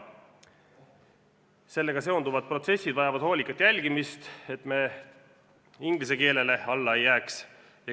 Sellega seonduvad protsessid vajavad hoolikat jälgimist, et me inglise keelele alla ei jääks.